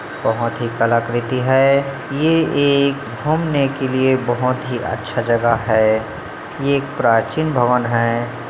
बहुत ही कलाकृति है ये एक घुमने के लिए बहुत ही अच्छा जगह है ये एक प्राचीन भवन हैं।